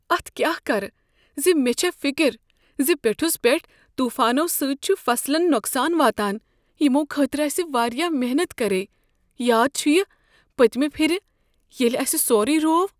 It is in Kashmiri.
اتھ کیاہ کرٕ زِ مےٚ چھےٚ فکر زِ پیوٚٹھُس پیٹھ طوفانو سۭتۍ چھُ فصلن نقصان واتان یمو خٲطرٕ اسہ واریاہ محنت کرییہ۔ یاد چھیہ پٔتۍمہ پھر ییٚلہ اسہ سورُے روو؟